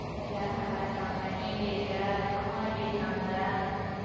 எல்லாரும் நல்லா இருக்காங்க. நீ எப்படி இருக்க, அம்மா எப்படி இருக்காங்க